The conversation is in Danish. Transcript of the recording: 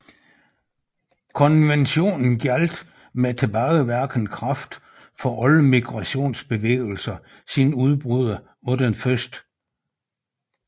Konventionen gjaldt med tilbagevirkende kraft for alle migratiosbevægelser siden udbruddet af den 1